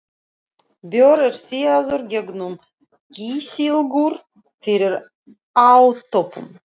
Bjór er síaður gegnum kísilgúr fyrir átöppun.